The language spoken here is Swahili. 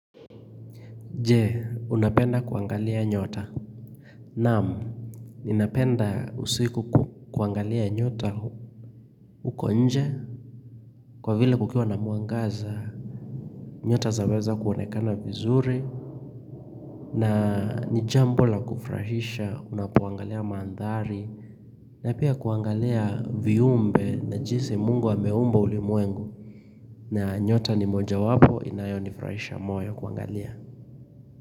Je, unapenda kuangalia nyota. Naam, ninapenda usiku kuangalia nyota huko nje. Kwa vile kukiwa na muangaza, nyota zaweza kuonekana vizuri. Na nijambo la kufurahisha, unapoangalia mandhari. Na pia kuangalia viumbe na jinsi mungu ameumba ulimuwengu. Na nyota ni moja wapo, inayo nifurahisha moyo kuangalia.